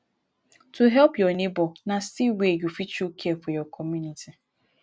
to help your neighbor na still way you fit show care for your community